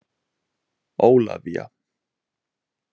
Ólafía